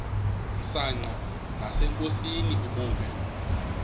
msanqa nasenkosini ubume